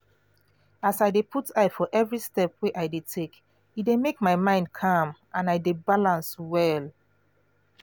as i dey put eye for every step wey i dey take e dey make my mind calm and i de balance well